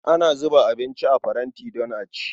Ana zuba abinci a faranti don a ci.